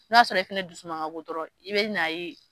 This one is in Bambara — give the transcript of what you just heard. N'a sɔrɔ fana dusuma ka go dɔrɔnw i bɛ n 'a ye.